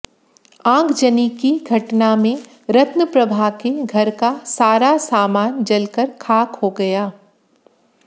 आगजनी की घटना में रत्नप्रभा के घर का सारा सामान जलकर खाक हो गया